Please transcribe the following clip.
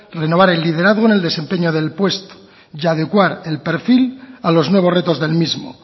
renovar el liderazgo en el desempeño del puesto y adecuar el perfil a los nuevos retos del mismo